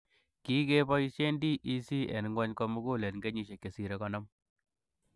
Kikebosiien DEC en ng'wony komukul en kenyisiek chesire konom.